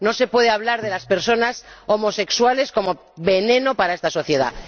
No se puede hablar de las personas homosexuales como veneno para esta sociedad.